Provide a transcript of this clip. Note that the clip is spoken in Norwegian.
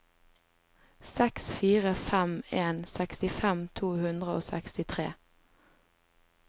seks fire fem en sekstifem to hundre og sekstitre